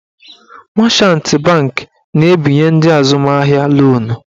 Machant banki na-ebinye ndị azụmahịa lonu.